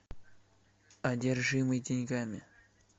одержимый деньгами